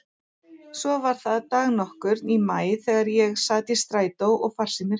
Svo var það dag nokkurn í maí þegar ég sat í strætó að farsíminn hringdi.